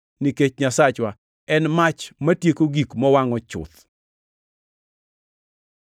nikech “Nyasachwa en mach matieko gik mowangʼo chuth.” + 12:29 \+xt Rap 4:24\+xt*